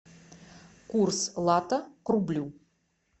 курс лата к рублю